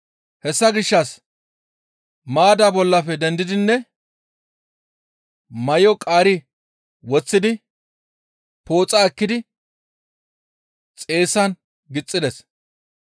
Hessa gishshas maaddaa bollafe dendidinne may7o qaari woththidi pooxa ekkidi xeessan gixxides.